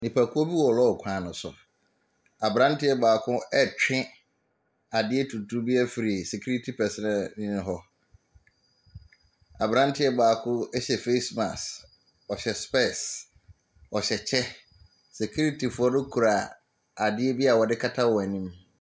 Nnipakuo bi wɔ lɔre kwan no so. Aberanteɛ baako retwe adeɛ tuntum bi afiri security personnelni no hɔ. Aberanteɛ baako hyɛ face mask, ɔhyɛ specs, ɔhyɛ kyɛ. Sikiritifoɔ no kura adeɛ bi a wɔde kata wɔn anim.